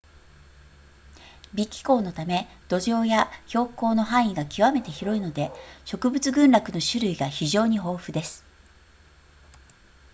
微気候のため土壌や標高の範囲が極めて広いので植物群落の種類が非常に豊富です